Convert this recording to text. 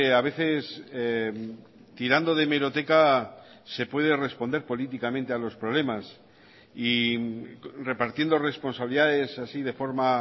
a veces tirando de hemeroteca se puede responder políticamente a los problemas y repartiendo responsabilidades así de forma